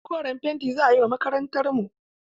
Koren fenti za a yi wa makarantarmu.